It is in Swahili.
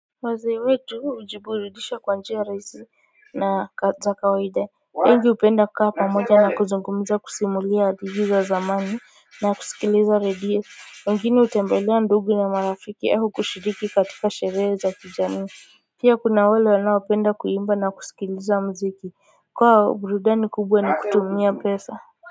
Wazee wetu hujiburudisha kwa njia rahisi na za kawaida wengi hupenda kukaa pamoja na kuzungumza kusimulia hadithi za zamani na kusikiliza radio wengine hutembelea ndugu na marafiki au kushiriki katika sherehe za kijamii pia kuna wale wanaopenda kuimba na kusikiliza mziki kwao burudani kubwa na kutumia pesa.